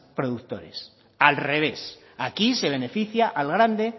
productores al revés aquí se beneficia al grande